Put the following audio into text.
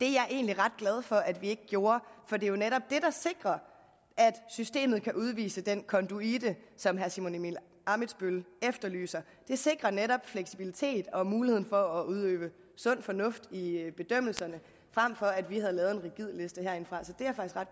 egentlig ret glad for at vi ikke gjorde for det er jo netop sikrer at systemet kan udvise den konduite som herre simon emil ammitzbøll efterlyser det sikrer netop fleksibilitet og muligheden for at udøve sund fornuft i bedømmelserne frem for at vi havde lavet en rigid liste herindefra